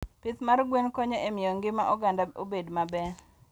Pith mag gwen konyo e miyo ngima oganda obed maber.